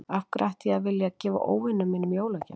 Af hverju ætti ég að vilja að gefa óvinum mínum jólagjafir?